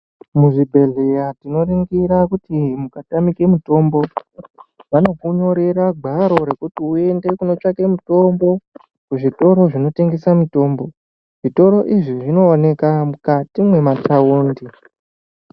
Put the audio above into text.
Muzvibhehleya tinoringira kuti kukatamike mutombo, vanokunyorera gwaro rekuti uyende kunotsvake mutombo kuzvitoto zvinotengesa mutombo. Zvitoro izvi zvinoonekwa mukati mwema taundi.